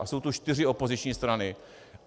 A jsou tu čtyři opoziční strany.